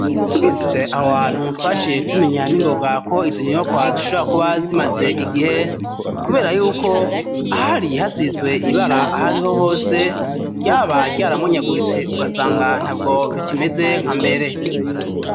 Tugize je aho hantu twaciye tumenya ningobwako izonyibo kwazishora kuba zimaze igihe, kubera yuko ah ari hasizwe ibara aho ariho hose ryaba ryaramunyaguritse ugasanga nta bwo bikimeze nka mbere.